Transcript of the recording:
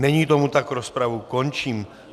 Není tomu tak, rozpravu končím.